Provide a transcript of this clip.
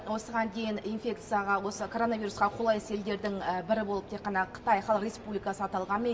осыған дейін инфекцияға осы коронавирусқа қолайсыз елдердің бірі болып тек қана қытай халық республикасы аталғанымен